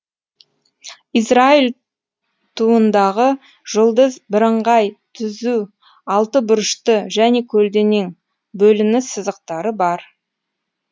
израиль туындағы жұлдыз бірыңғай түзу алты бұрышты және көлденең бөлініс сызықтары бар